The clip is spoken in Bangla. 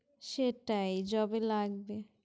সেটাই job এ লাগবে।